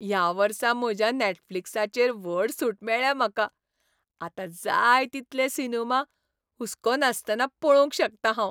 ह्या वर्सा म्हज्या नेटफ्लिक्साचेर व्हड सूट मेळ्ळ्या म्हाका. आतां जाय तितले सिनेमा हुसको नासतना पळोवंक शकतां हांव.